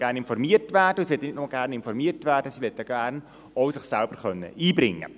Sie möchte gerne informiert werden, und nicht nur das: Sie möchte sich gerne auch selbst einbringen können.